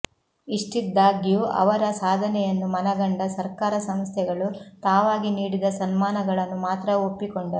ಇಷ್ಟಿದ್ದಾಗ್ಯೂ ಅವರ ಸಾಧನೆಯನ್ನು ಮನಗಂಡ ಸರ್ಕಾರ ಸಂಸ್ಥೆಗಳು ತಾವಾಗಿ ನೀಡಿದ ಸನ್ಮಾನಗಳನ್ನು ಮಾತ್ರ ಒಪ್ಪಿಕೊಂಡರು